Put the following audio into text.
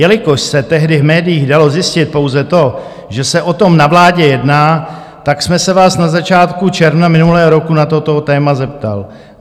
Jelikož se tehdy v médiích dalo zjistit pouze to, že se o tom na vládě jedná, tak jsem se vás na začátku června minulého roku na toto téma zeptal.